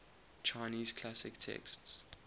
chinese classic texts